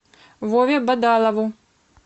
вове бадалову